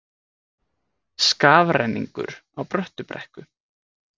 Skafrenningur á Bröttubrekku